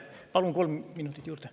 Palun kolm minutit juurde.